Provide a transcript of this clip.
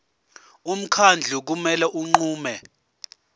umkhandlu kumele unqume